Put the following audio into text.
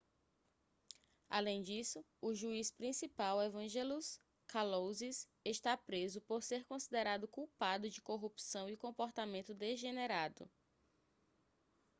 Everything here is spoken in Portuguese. além disso o juiz principal evangelos kalousis está preso por ser considerado culpado de corrupção e comportamento degenerado